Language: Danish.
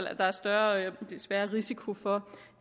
at der er større risiko for